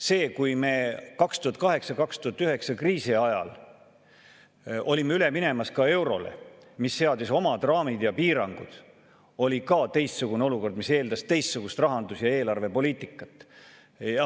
See, kui me 2008–2009 kriisi ajal olime üle minemas eurole, mis seadis oma raamid ja piirangud, oli ka teistsugune olukord, mis eeldas teistsugust rahandus- ja eelarvepoliitikat.